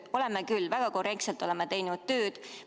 Oleme küll, väga korrektselt oleme oma tööd teinud!